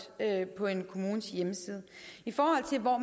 på en kommunes hjemmeside i forhold til hvor